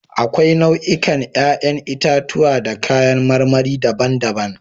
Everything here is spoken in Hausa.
Akwai nau'ikan 'ƴa'ƴn itatuwa da kayan marmari daban-daban.